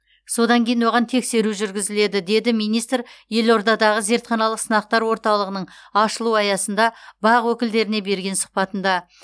содан кейін оған тексеру жүргізіледі деді министр елордадағы зертханалық сынақтар орталығының ашылу аясында бақ өкілдеріне берген сұхбатында